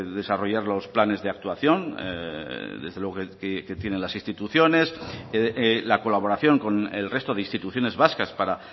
desarrollar los planes de actuación desde luego que tienen las instituciones la colaboración con el resto de instituciones vascas para